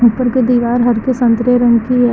ऊपर की दीवार हरके संतरे रंग की है।